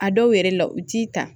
A dɔw yɛrɛ la u t'i ta